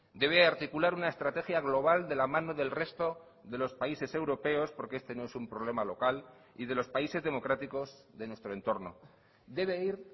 debe articular una estrategia global de la mano del resto de los países europeos porque este no es un problema local y de los países democráticos de nuestro entorno debe ir